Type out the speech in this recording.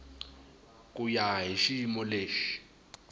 ku ya hi xiyimo lexi